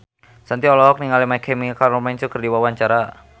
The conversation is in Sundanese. Shanti olohok ningali My Chemical Romance keur diwawancara